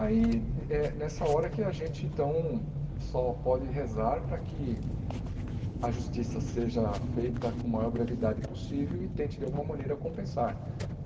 Aí é nessa hora que a gente então só pode rezar para que a justiça seja feita com a maior brevidade possível e tente de alguma maneira compensar.